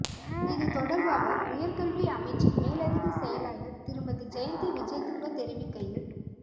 இதுதொடர்பாக உயர்கல்வி அமைச்சின் மேலதிக செயலாளர் திருமதி ஜயந்தி விஜேதுங்க தெரிவிக்கையில்